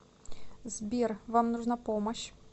сбер вам нужна помощь